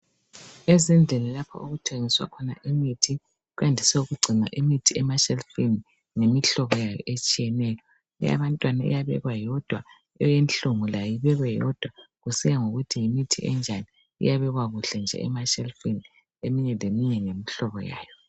Ezindlini lapho okuthengiswa khona imithi kuyandiswe ukugcinwa imithi emashelufini ngemihlobo yayo etshiyeneyo. Eyabantwana iyabekwa yodwa, eyenhlungu layo ibekwe yodwa kusiya ngokuthi yimithi enjani .Iyabekwa kuhle nje emashelufini ,eminye leminye ngemihlobo yayo .